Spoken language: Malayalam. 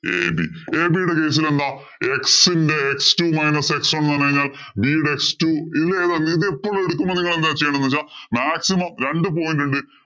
ab ab യുടെ case ഇലെന്ത x ഇന്‍റെ x two minus x one എന്ന് പറഞ്ഞു കഴിഞ്ഞാല്‍ b യുടെ x two ഇതിലേതാ ഇതിലെപ്പോഴും എടുക്കുമ്പോ നിങ്ങളെന്താ ചെയ്യേണ്ടേന്ന് വെച്ചാ maximum രണ്ട് point ഉണ്ട്.